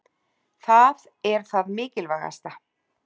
Það er það mikilvægasta.